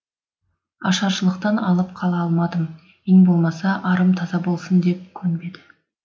ашаршылықтан алып қала алмадым ең болмаса арым таза болсын деп көнбеді